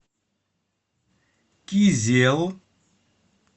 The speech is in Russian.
кизел